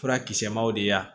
Furakisɛ maw de y'a